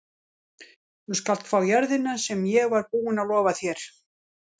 Þú skalt fá jörðina sem ég var búinn að lofa þér.